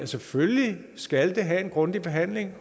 selvfølgelig skal have en grundig behandling